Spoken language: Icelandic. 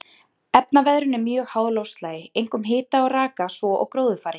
Efnaveðrun er mjög háð loftslagi, einkum hita og raka, svo og gróðurfari.